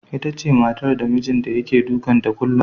Itace matar da mijinta yake dukan ta kullum.